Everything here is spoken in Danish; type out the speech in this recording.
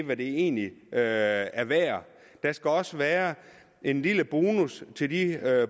hvad det egentlig er er værd der skal også være en lille bonus til de